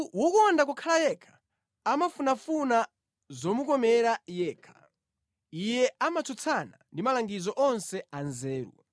Munthu wokonda kukhala yekha amafunafuna zomukomera yekha; iye amatsutsana ndi malangizo onse anzeru.